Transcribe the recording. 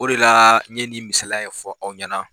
O de la n ɲɛ ni misala ye fɔ aw ɲɛna.